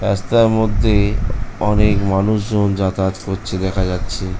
রাস্তার মধ্যে অনেক মানুষ জন যাতায়াত করছে দেখা যাচ্ছে।